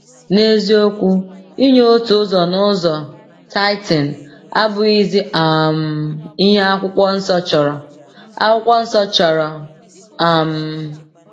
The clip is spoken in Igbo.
N’eziokwu, inye otu ụzọ n’ụzọ (tithing) abụghịzi um ihe Akwụkwọ Nsọ chọrọ. Akwụkwọ Nsọ chọrọ. um